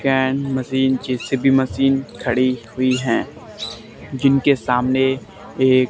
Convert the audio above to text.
crane machine JCB machine खड़ी हुई है जिनके सामने एक--